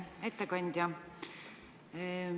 Ettekandja!